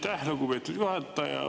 Aitäh, lugupeetud juhataja!